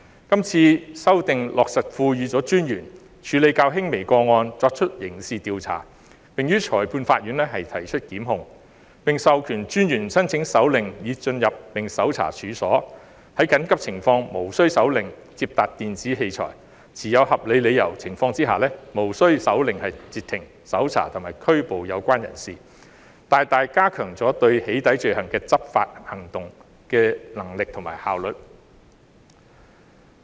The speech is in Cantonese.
今次修訂落實賦予私隱專員權力處理較輕微的個案，作出刑事調查，以及於裁判法院提出檢控；並授權私隱專員申請手令以進入並搜查處所，在緊急情況下可無需手令而接達電子器材，在持有合理理由的情況下可無需手令而截停、搜查及拘捕有關人士，大大加強了針對"起底"罪行的執法行動的能力和效率。